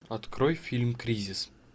открой фильм кризис